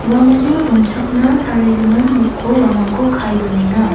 uamangna dongchakna tarigimin noko uamangko kae donenga.